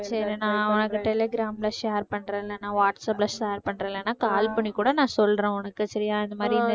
சரி நான் உனக்கு டெலிகிராம்ல share பண்றேன் இல்லேன்னா வாட்ஸ்ஆப்ல share பண்றேன் இல்லேன்னா call பண்ணி கூட நான் சொல்றேன் உனக்கு சரியா இந்த மாதிரின்னு